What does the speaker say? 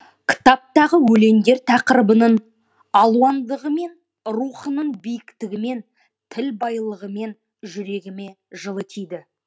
кітаптағы өлеңдер тақырыбының алуандығымен рухының биіктігімен тіл байлығымен жүрегіме жылы тиді